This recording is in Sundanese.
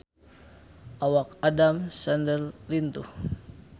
Awak Adam Sandler lintuh